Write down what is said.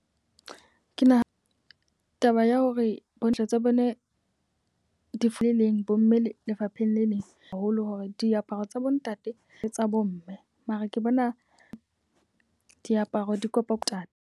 Ke naha taba ya hore bontsha tsa bone di fule leng bo mme le lefapheng le leng. Haholo hore diaparo tsa bo ntate le tsa bo mme. Mara ke bona diaparo di kopo tane.